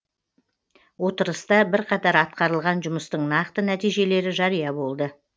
отырыста бірқатар атқарылған жұмыстың нақты нәтижелері жария болды